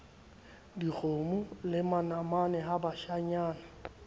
dikgomo le manamane ha bashanyana